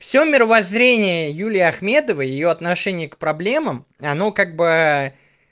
всё мировоззрение юлии ахмедовой её отношение к проблемам оно как бы